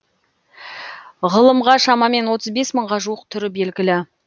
ғылымға шамамен отыз бес мыңға жуық түрі белгілі